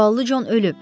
Zavallı Con ölüb.